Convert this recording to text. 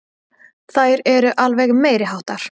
Þær eru alveg meiriháttar!